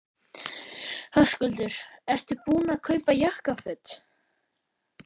Höskuldur: Ertu búinn að kaupa jakkaföt?